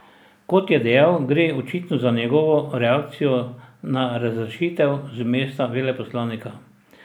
Kot je dejal, gre očitno za njegovo reakcijo na razrešitev z mesta veleposlanika.